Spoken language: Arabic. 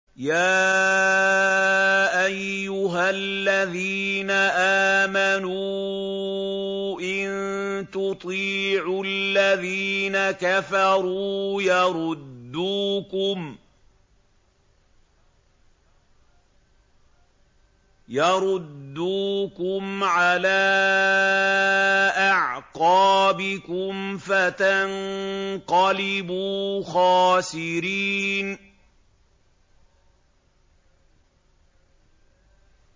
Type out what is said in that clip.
يَا أَيُّهَا الَّذِينَ آمَنُوا إِن تُطِيعُوا الَّذِينَ كَفَرُوا يَرُدُّوكُمْ عَلَىٰ أَعْقَابِكُمْ فَتَنقَلِبُوا خَاسِرِينَ